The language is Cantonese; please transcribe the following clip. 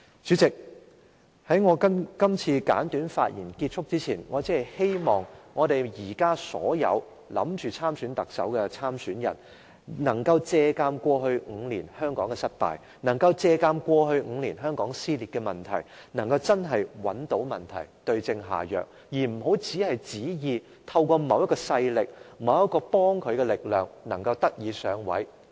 主席，在我結束今次簡短的發言前，我希望現時所有考慮參選特首的人，要借鑒香港過去5年的失敗經驗，找出香港過去5年的撕裂問題的成因，對症下藥，而不要只是寄望憑藉某種勢力，或某股力量來上位。